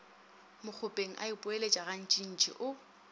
mokgopeng a ipoeletša gantšintši o